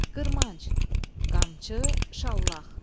Qırmanc, qamçı, şallaq.